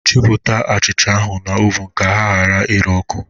Chịpụta achịcha ahụ n'ovunu ka ha ghara ire ọkụ!